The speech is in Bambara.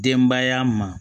Denbaya ma